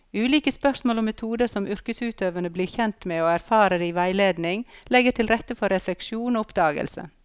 Ulike spørsmål og metoder som yrkesutøverne blir kjent med og erfarer i veiledning, legger til rette for refleksjon og oppdagelse.